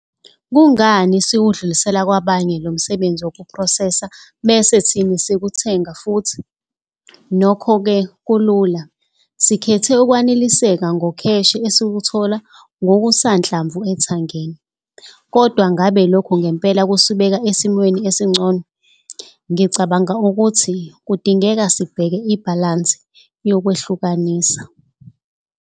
Kungani siwedlulisela kwabanye abantu lo msebenzi wokuphrosesa bese thini sikuthenga futhi? Nokho ke kulula, sikhethe ukweneliseka ngokheshe esiwuthola ngokusanhlamvu ethangeni. Kodwa ngabe lokhu ngempela kusibeka esimweni esingcono? Ngicabanga ukuthi kudingeka sibheke ibhalansi yokwehlukanisa.